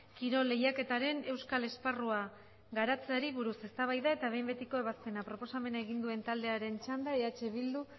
kirol lehiaketaren euskal esparrua garatzeari buruz eztabaida eta behin betiko ebazpena proposamena egin duen taldearen txanda eh bildu